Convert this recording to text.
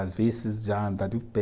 Às vezes, já andar de pé,